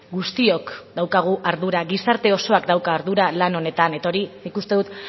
guztiok daukagu ardura gizarte osoak dauka ardura lan honetan eta hori nik uste dut